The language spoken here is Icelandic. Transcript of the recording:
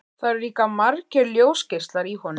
Það eru líka margir ljósgeislar í honum.